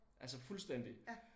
Altså fuldstændig